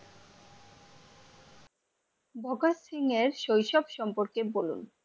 ভাগত সিংহের শৈশব সম্পর্কে বলুন?